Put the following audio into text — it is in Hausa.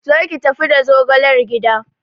Zo ki tafi da zogalar gida!